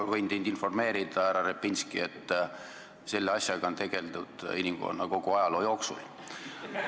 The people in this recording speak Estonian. Ma võin teid informeerida, härra Repinski, et selle asjaga on tegeldud kogu inimkonna ajaloo jooksul.